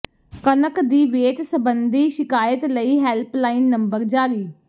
ਕਣਕ ਦੀ ਵੇਚ ਸਬੰਧੀ ਸ਼ਿਕਾਇਤ ਲਈ ਹੈਲਪਲਾਈਨ ਨੰਬਰ ਜਾਰੀ